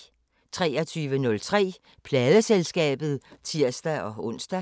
23:03: Pladeselskabet (tir-ons)